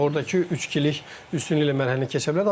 Ordakı üçkilik üstünlüklə mərhələni keçə bilərdilər.